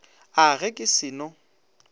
a ge ke se no